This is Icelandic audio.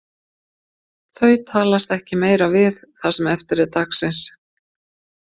Þau talast ekki meira við það sem eftir er dagsins.